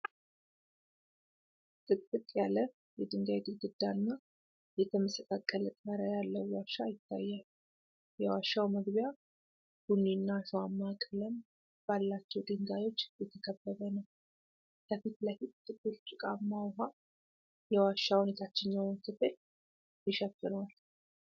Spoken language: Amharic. ጥቅጥቅ ያለ የድንጋይ ግድግዳና የተመሰቃቀለ ጣሪያ ያለው ዋሻ ይታያል። የዋሻው መግቢያ ቡኒና አሸዋማ ቀለም ባላቸው ድንጋዮች የተከበበ ነው። ከፊት ለፊት ጥቁር ጭቃማ ውሃ የዋሻውን የታችኛው ክፍል ይሸፍነዋል።